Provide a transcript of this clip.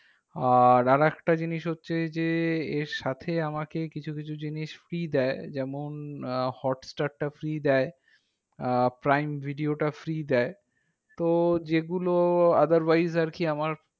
আর আরেকটা জিনিস হচ্ছে যে, এর সাথে আমাকে কিছু কিছু জিনিস free দেয়। যেমন আহ hotstar টা free দেয়। আহ prime video টা free দেয়। তো যেগুলো otherwise আরকি আমার